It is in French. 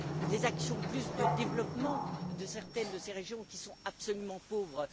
des actions de développement pour certaines de ces régions qui sont absolument pauvres..